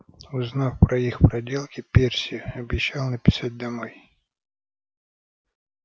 узнав про их проделки перси обещал написать домой